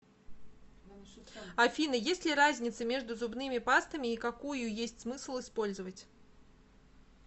афина есть ли разница между зубными пастами и какую есть смысл использовать